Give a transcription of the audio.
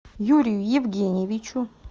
юрию евгеньевичу